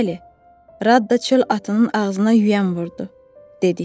Bəli, Rada çöl atının ağzına yüyən vurdu, dedik.